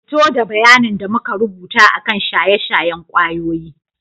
Fito da bayanin da muka rubuta akan shaye-shayen kwayoyi.